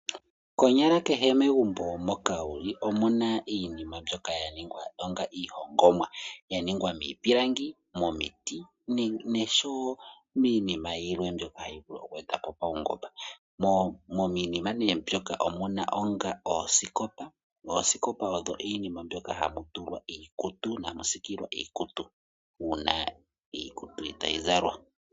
Konyala kehe megumbo moka wu li omu na iinima mbyoka ya ningwa po onga iihongomwa, ya ningwa miipilangi, momiti noshowo iinima yilwe mbyoka ya gwedhwa po paungomba. Miinima mbyoka omu na oosikopa, noosikopa odho iinima mbyoka hamu tulwa iikutu, ano hamu siikilwa iikutu uuna iikutu itayi zalwa.